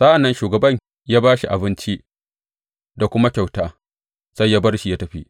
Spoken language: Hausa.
Sa’an nan shugaban ya ba shi abinci da kuma kyauta sai ya bar shi ya tafi.